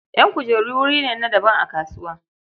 Ƴan kujeru wuri ne na daban a kasuwa.